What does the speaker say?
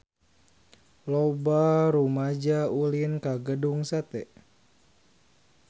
Loba rumaja ulin ka Gedung Sate